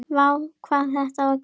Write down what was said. Vá hvað þetta var gaman!!